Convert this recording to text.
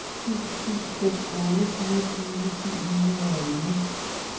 syv syv fem otte fireogtyve syv hundrede og elleve